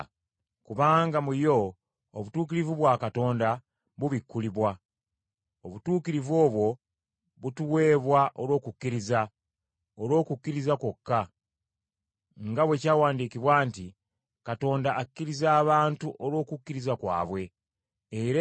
Kubanga mu yo obutuukirivu bwa Katonda bubikkulibwa. Obutuukirivu obwo butuweebwa olw’okukkiriza, olw’okukkiriza kwokka, nga bwe kyawandiikibwa nti, “Abatuukirivu banaabeeranga balamu lwa kukkiriza.”